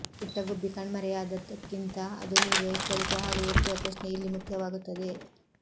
ಪುಟ್ಟ ಗುಬ್ಬಿ ಕಣ್ಮರೆಯಾದದ್ದಕ್ಕಿಂತ ಅದು ನೀಡುವ ಎಚ್ಚರಿಕೆ ಹಾಗೂ ಎತ್ತುವ ಪ್ರಶ್ನೆ ಇಲ್ಲಿ ಮುಖ್ಯವಾಗುತ್ತದೆ